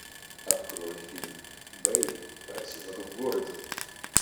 открой фильм бэйб поросенок в городе